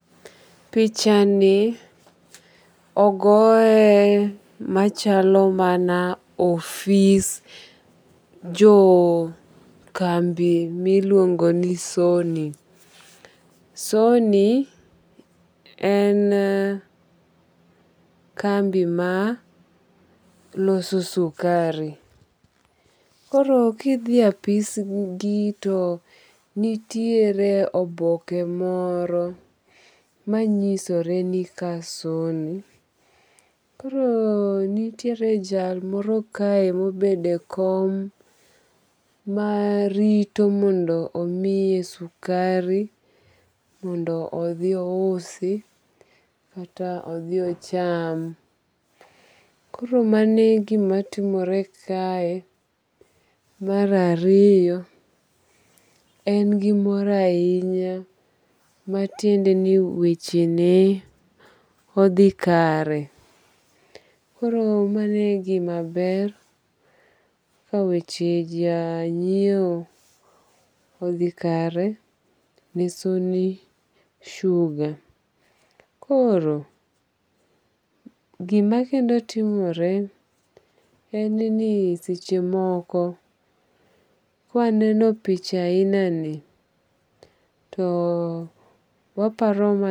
Picha ni ogoye machalo mana ofis jo kambi miluongo ni Sony. Sony en kambi ma loso sukari. Koro kidhi apis gi to nitiere oboke moro manyisore ni ka Sony. Koro nitiere jal moro kae mobedo e kom marito mondo omiye sukari mondo odhi ousi kata odhi ocham. Koro mano e gima timore kae. Mar ariyo en gi mor ahinya matiende ni weche ne odhi kare. Koro mano e gima ber ka weche ja nyiew odhi kare ne Sony Sugar. Koro gima kendo timore en ni seche moko kwa neno picha ahina ni to waparo